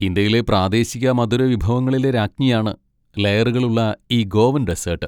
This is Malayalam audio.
ഇന്ത്യയിലെ പ്രാദേശിക മധുരവിഭവങ്ങളിലെ രാജ്ഞിയാണ് ലേയറുകളുള്ള ഈ ഗോവൻ ഡെസ്സേട്ട്.